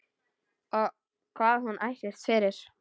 Hvað hún ætlist fyrir.